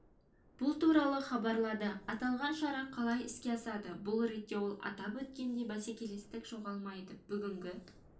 бұл туралы хабарлады аталған шара қалай іске асады бұл ретте ол атап өткендей бәсекелестік жоғалмайды бүгінгі